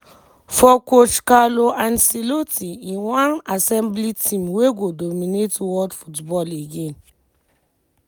for coach carlo ancelotti im wan assemble team wey go dominate world football again.